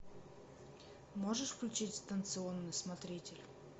можешь включить станционный смотритель